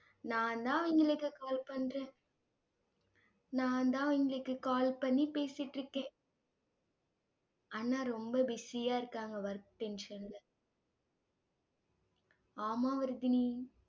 நான்தான் அவங்களுக்கு call பண்றேன் நான்தான் அவங்களுக்கு call பண்ணி பேசிட்டிருக்கேன் அண்ணா ரொம்ப busy ஆ இருக்காங்க work tension ல ஆமா வர்தினி